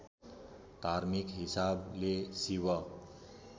धार्मिक हिसाबले शिव